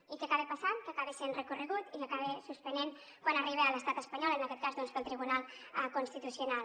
i què acaba passant que acaba sent recorregut i que s’acaba suspenent quan arriba a l’estat espanyol en aquest cas doncs pel tribunal constitucional